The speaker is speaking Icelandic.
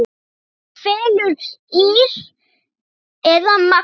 Hvort fellur ÍR eða Magni?